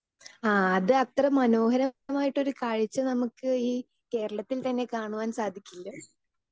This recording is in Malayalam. സ്പീക്കർ 2 ആ അത് അത്ര മനോഹരമായിട്ടൊരു കാഴ്ച ച നമുക്ക് ഈ കേരളത്തിൽ തന്നെ കാണുവാൻ സാധിക്കുമല്ലോ?